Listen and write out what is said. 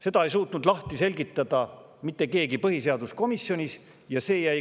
" Seda ei suutnud põhiseaduskomisjonis mitte keegi lahti seletada.